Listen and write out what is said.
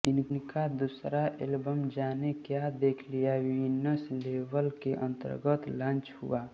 इनका दूसरा एल्बम जाने क्या देख लिया वीनस लेबल के अनतर्गत लांच हुआ